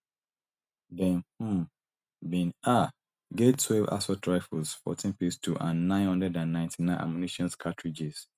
dem um bin um get twelve assault rifles fourteen pistols and nine hundred and ninety-nine ammunition cartridges